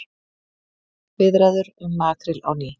Viðræður um makríl á ný